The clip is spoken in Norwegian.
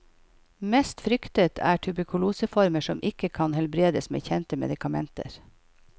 Mest fryktet er tuberkuloseformer som ikke kan helbredes med kjente medikamenter.